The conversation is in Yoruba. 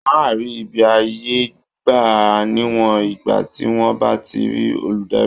Wọ́n á rí ibi àyè gbà níwọ̀n ìgbà tí wọ́n bá ti rí olùdarí